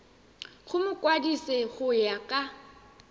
go mokwadise go ya ka